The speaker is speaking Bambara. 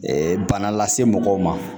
bana lase mɔgɔw ma